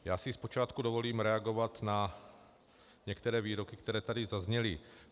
Já si zpočátku dovolím reagovat na některé výroky, které tady zazněly.